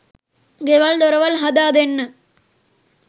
ගෙවල් දොරවල් හදා දෙන්න